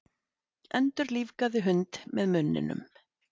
Endurlífgaði hund með munninum